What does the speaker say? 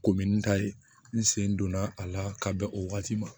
Komi n ta ye n sen donna a la ka bɛn o waati ma